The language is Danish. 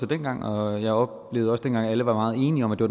dengang og jeg oplevede også dengang at alle var meget enige om at det